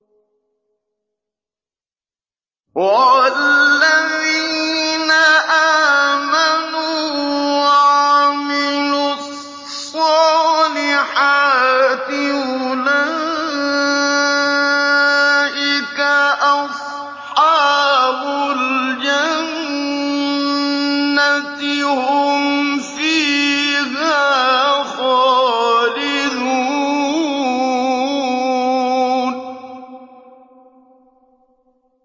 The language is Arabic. وَالَّذِينَ آمَنُوا وَعَمِلُوا الصَّالِحَاتِ أُولَٰئِكَ أَصْحَابُ الْجَنَّةِ ۖ هُمْ فِيهَا خَالِدُونَ